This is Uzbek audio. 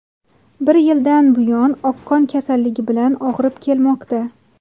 Bir yildan buyon oqqon kasalligi bilan og‘rib kelmoqda.